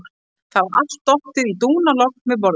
Það var allt dottið í dúnalogn við borðið.